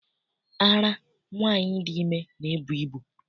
Ara nwaanyị dị ime na-ebu ibu.